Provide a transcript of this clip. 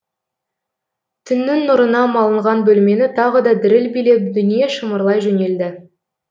түннің нұрына малынған бөлмені тағы да діріл билеп дүние шымырлай жөнелді